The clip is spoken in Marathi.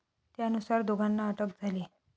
त्यानुसार दोघांना अटक झाली.